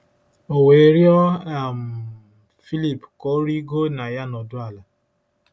O we riọ um Filip ka o rigo na ya nọdu ala; ”